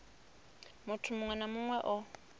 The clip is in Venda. muthu muṅwe na muṅwe o